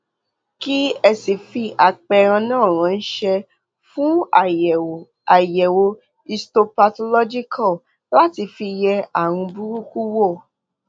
kí ẹ sì fi àpẹẹrẹ náà ránṣẹ fún àyẹwò àyẹwò histopathological láti fi yẹ ààrùn burúkú wò